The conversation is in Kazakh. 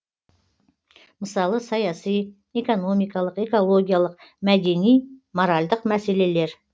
мысалы саяси экономикалық экологиялық мәдени моральдық мәселелер